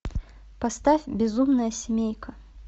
поставь безумная семейка